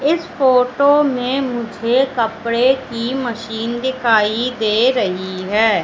इस फोटो में मुझे कपड़े की मशीन दिखाई दे रही हैं।